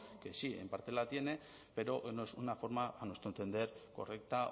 que sí en parte la tiene pero no es una forma a nuestro entender correcta